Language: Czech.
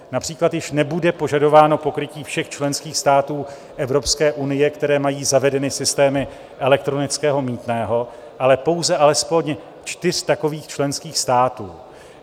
Například již nebude požadováno pokrytí všech členských států Evropské unie, které mají zavedeny systémy elektronického mýtného, ale pouze alespoň čtyř takových členských států.